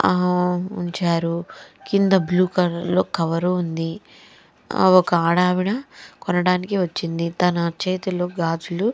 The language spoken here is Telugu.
ఆహ్ ఉంచారు కింద బ్లూ కలర్ లో కవరు ఉంది ఒక అడవిడ కొన్నాడు వచ్చింది తన చేతిలో గాజులు --